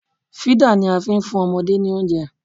Fídà ni a fi ń fún ọmọdé ní oúnjẹ